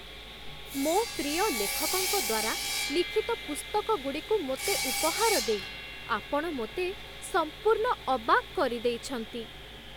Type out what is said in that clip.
ମୋ ପ୍ରିୟ ଲେଖକଙ୍କ ଦ୍ୱାରା ଲିଖିତ ପୁସ୍ତକଗୁଡ଼ିକୁ ମୋତେ ଉପହାର ଦେଇ ଆପଣ ମୋତେ ସମ୍ପୂର୍ଣ୍ଣ ଅବାକ୍ କରିଦେଇଛନ୍ତି!